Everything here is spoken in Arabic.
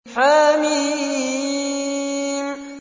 حم